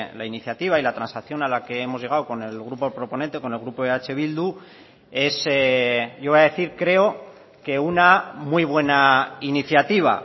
la iniciativa y la transacción a la que hemos llegado con el grupo proponente con el grupo eh bildu es yo voy a decir creo que una muy buena iniciativa